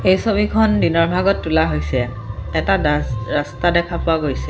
এই ছবিখন দিনৰ ভাগত তোলা হৈছে এটা ডাছ ৰাস্তা দেখা পোৱা গৈছে।